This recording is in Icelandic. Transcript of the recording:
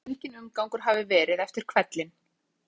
Öllum ber saman um að enginn umgangur hafi verið eftir hvellinn.